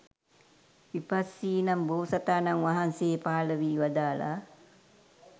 විපස්සි නම් බෝතසාණන් වහන්සේ පහළ වී වදාළා.